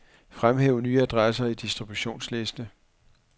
Fremhæv nye adresser i distributionsliste.